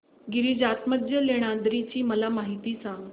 गिरिजात्मज लेण्याद्री ची मला माहिती सांग